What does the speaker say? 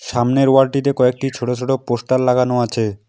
সামনের ওয়াল -টিতে কয়েকটি ছোট ছোট পোস্টার লাগানো আছে।